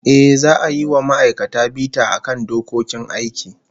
Ehh, za'a yi wa ma'aikata bita akan dokokin aiki